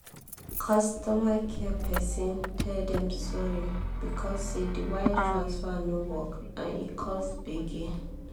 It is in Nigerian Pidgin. customer care person tell dem sorry because say the wire transfer no work and e cause gbege